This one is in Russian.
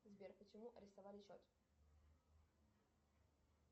сбер почему арестовали счет